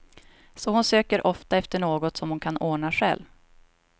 Så hon söker ofta efter något som hon kan ordna själv.